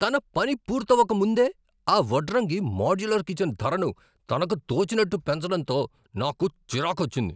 తన పని పూర్తవక ముందే ఆ వడ్రంగి మోడ్యులర్ కిచన్ ధరను తనకు తోచినట్టు పెంచడంతో నాకు చిరాకొచ్చింది.